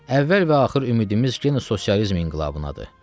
Əvvəl və axır ümidimiz yenə sosializm inqilabınadır.